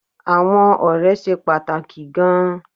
Àwọn ọ̀rẹ́ ṣe pàtàkì gan-an